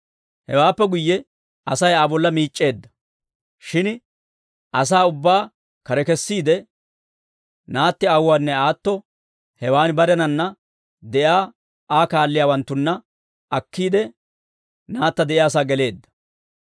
Hewaappe guyye Asay Aa bolla miic'c'eedda; shin asaa ubbaa kare kessiide, naatti aawuwaanne aatto hewaan barenanna de'iyaa Aa kaalliyaawanttanne akkiide, naatta de'iyaasaa geleedda.